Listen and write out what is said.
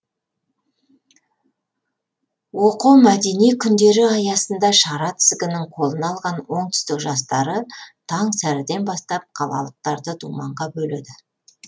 оқо мәдени күндері аясында шара тізгінін қолына алған оңтүстік жастары таң сәріден бастап қалалықтарды думанға бөледі